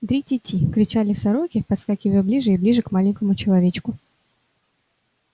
дри-ти-ти кричали сороки подскакивая ближе и ближе к маленькому человечку